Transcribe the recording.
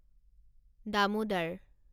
Damodar